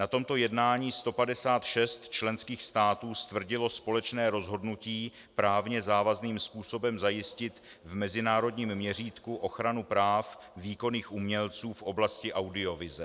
Na tomto jednání 156 členských států stvrdilo společné rozhodnutí právně závazným způsobem zajistit v mezinárodním měřítku ochranu práv výkonných umělců v oblasti audiovize.